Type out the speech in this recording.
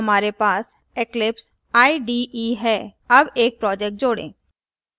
और यहाँ हमारे पास eclipse ide है add एक project जोड़ें